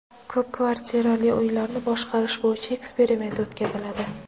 Ko‘p kvartirali uylarni boshqarish bo‘yicha eksperiment o‘tkaziladi.